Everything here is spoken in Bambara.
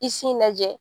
I sin lajɛ